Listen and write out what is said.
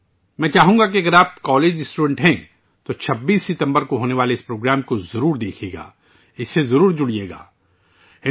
میں چاہوں گا کہ اگر آپ کالج کے طالب علم ہیں تو 26 ستمبر کو یہ پروگرام ضرور دیکھیں، اس میں ضرور شامل ہوں